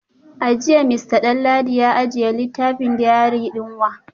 A jiya Mr Danladi ya ajiye littafin diary din wa?